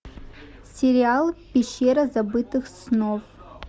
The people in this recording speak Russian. сериал пещера забытых снов